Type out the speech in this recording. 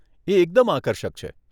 એ એકદમ આકર્ષક છે.